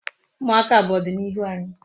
Umuaka bu odinihu anyi